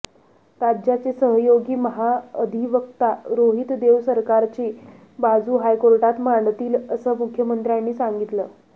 राज्याचे सहयोगी महाअधिवक्ता रोहित देव सरकारची बाजू हायकोर्टात मांडतील असं मुख्यमंत्र्यांनी सांगितलं